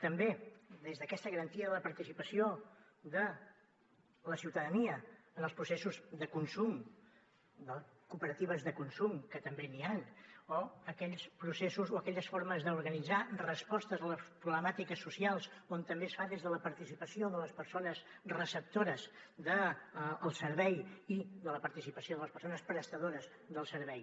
també des d’aquesta garantia de la participació de la ciutadania en els processos de consum de cooperatives de consum que també n’hi han o aquells processos o aquelles formes d’organitzar respostes a les problemàtiques socials on també es fa des de la participació de les persones receptores del servei i la participació de les persones prestadores del servei